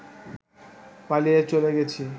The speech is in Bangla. পালিয়ে চলে গেছি